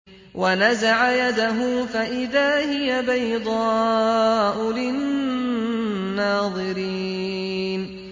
وَنَزَعَ يَدَهُ فَإِذَا هِيَ بَيْضَاءُ لِلنَّاظِرِينَ